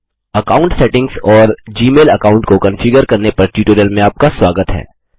account settings और Gmail account को configure करने पर ट्यूटोरियल में आपका स्वागत है